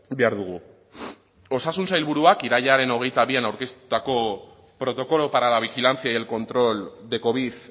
behar dugu osasun sailburuak irailaren hogeita bian aurkeztutako protocolo para la vigilancia y el control de covid